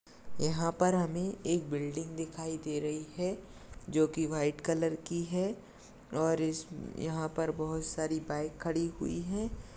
यहाँ पर हमे एक बिल्डिंग दिखाई दे रही है जोकि व्हाइट कलर की है और इस यहाँ पर बहुत सारी बाइक खड़ी हुई है।